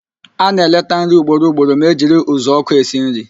A na-eleta nri ugboro ugboro ma e jiri uzuọkụ esi nri